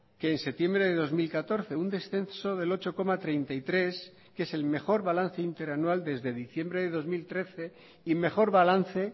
que en septiembre de dos mil catorce un descenso del ocho coma treinta y tres que es el mejor balance interanual desde diciembre de dos mil trece y mejor balance